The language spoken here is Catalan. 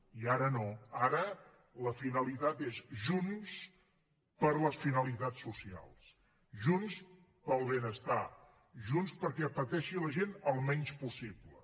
i ara no ara la finalitat és junts per les finalitats socials junts pel benestar junts perquè pateixi la gent el menys possible